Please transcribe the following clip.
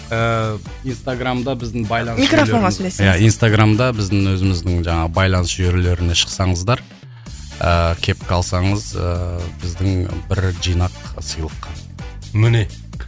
ыыы инстаграмда біздің байланыс жүйелер микрофонға сөйлесеңіз иә инстаграмда біздің өзіміздің жаңағы байланыс жүйелеріне шықсаңыздар ыыы кепка алсаңыз ыыы біздің бір жинақ сыйлыққа міне